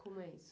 Como é isso?